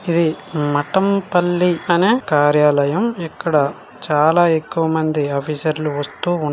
ఇది మఠంపల్లి అనే కార్యాలయం. ఇక్కడ చాలా ఎక్కువ మంది ఆఫీసర్లు వస్తూ ఉ --